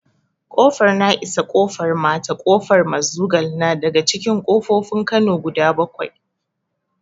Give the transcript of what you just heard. Ƙofar na'isa, ƙofar mata, ƙofar mazugal na daga cikin ƙofofin kano guda bakwai